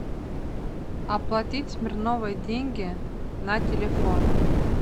оплатить смирновой деньги на телефон